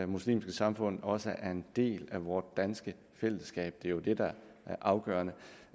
muslimske samfund også er en del af vort danske fællesskab det er jo det der er afgørende